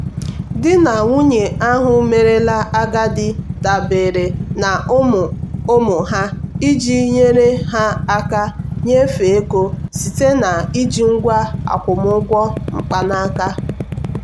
di na nwunye ahụ merela agadi dabere na ụmụ ụmụ ha iji nyere ha aka nyefee ego site na iji ngwa akwụmụgwọ mkpanaka.